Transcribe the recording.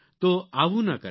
તો આવું ન કરતા